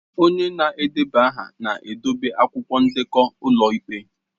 Onye na-edeba aha na-edobe akwụkwọ ndekọ ụlọ ikpe